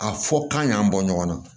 A fɔ k'an y'an bɔ ɲɔgɔn na